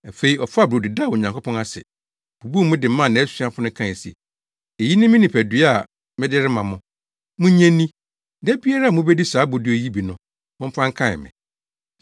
Afei, ɔfaa brodo daa Onyankopɔn ase, bubuu mu de maa nʼasuafo no kae se, “Eyi ne me nipadua a mede rema mo. Munnye nni. Da biara a mubedi saa brodo yi bi no, momfa nkae me.”